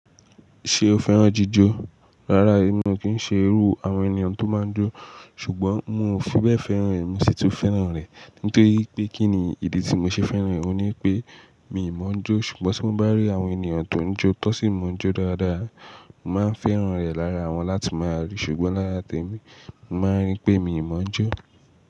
Ṣé o fẹ́ràn jíjọ? Rárá, èmi ò ki n ṣe irú àwọn ènìyàn tó máa ń jó, ṣùgbọ́n mo fi bẹ́ẹ̀ fẹ́ràn rẹ̀, mi sì tún fẹ́ràn rẹ̀. Nítorí pé kí ni ìdí tí mo ṣe fẹ́ràn rẹ̀, òun ní pé mi mọ̀ọ́ jó, ṣùgbọ́n tí mo bá rí àwọn ènìyàn tó ń jó tó sì mọ̀ọ́ jó dáadáa, màá n fẹ́ràn rẹ̀ lára wọn láti máa rí. Ṣùgbọ́n lára témi, mi màá rí pé mi ò mọ̀ọ́ jó.